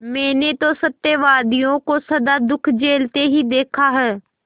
मैंने तो सत्यवादियों को सदा दुःख झेलते ही देखा है